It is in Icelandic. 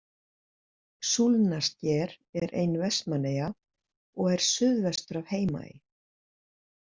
Súlnasker er ein Vestmannaeyja og er suðvestur af Heimaey.